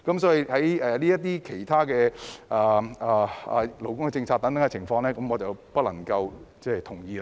所以，就陸議員修正案提出的勞工政策等問題，我不能夠同意。